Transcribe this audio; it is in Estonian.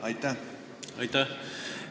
Aitäh!